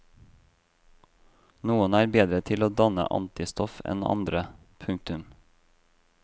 Noen er bedre til å danne antistoff enn andre. punktum